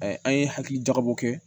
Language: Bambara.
an ye hakili jagabɔ kɛ